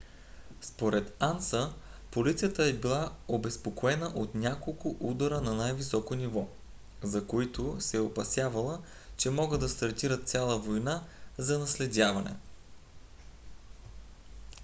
според анса полицията е била обезпокоена от няколко удара на най - високо ниво за които се е опасявала че могат да стартират цяла война за наследяване